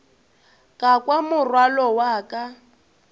ka kwa morwalo wa ka